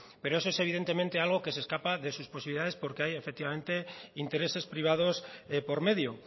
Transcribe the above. pero eso es evidentemente algo que se escapa de sus posibilidades porque hay efectivamente intereses privados por medio